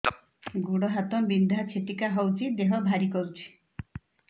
ଗୁଡ଼ ହାତ ବିନ୍ଧା ଛିଟିକା ହଉଚି ଦେହ ଭାରି କରୁଚି